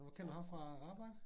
Hvor kender du ham fra? Arbejdet?